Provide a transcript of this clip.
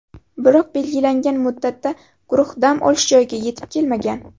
Biroq belgilangan muddatda guruh dam olish joyiga yetib kelmagan.